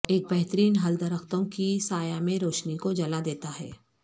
ایک بہترین حل درختوں کی سایہ میں روشنی کو جلا دیتا ہے